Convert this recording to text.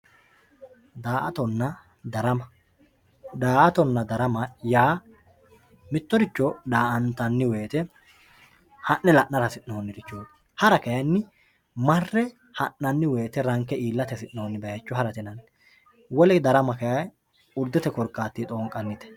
Daa`atona darama daa`atonna darama yaa mitoricho daa`antani woyite ha`ne la`nara hasinonirichooti hara kayini mare ha`nani ranke iilate hasinoni bayicho harate yinaniwole darama kayi urdete korkatini xoonqanite.